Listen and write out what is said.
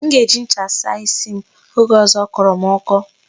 M ga-eji ncha saa isi m oge ọzọ ọ kọrọ m ọkọ.